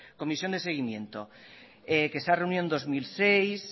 comisión de seguimiento que se ha reunido en dos mil seis